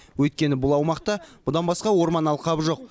өйткені бұл аумақта бұдан басқа орман алқабы жоқ